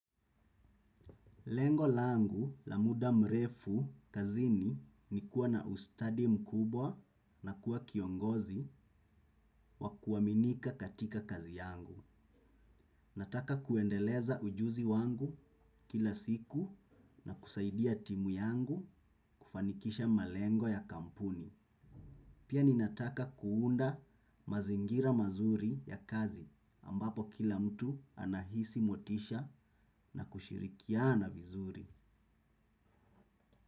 Lengo langu la muda mrefu kazini ni kuwa na ustadi mkubwa na kuwa kiongozi wa kuaminika katika kazi yangu. Nataka kuendeleza ujuzi wangu kila siku na kusaidia timu yangu kufanikisha malengo ya kampuni. Pia ninataka kuunda mazingira mazuri ya kazi ambapo kila mtu anahisi motisha na kushirikiana vizuri.